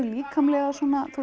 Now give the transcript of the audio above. líkamlega